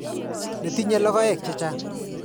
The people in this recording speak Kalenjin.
Ne tinye logoek che chang' .